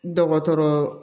Dɔgɔtɔrɔ